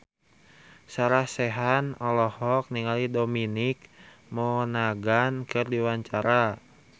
Sarah Sechan olohok ningali Dominic Monaghan keur diwawancara